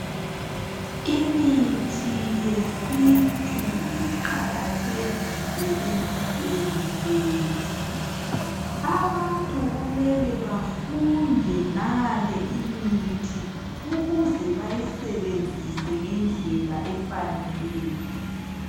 Imithi yesintu iqakathekile empilweni zethu. Abantu kumele bafunde ngale imithi ukuze bayisebenzise ngendlela efaneleyo.